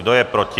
Kdo je proti?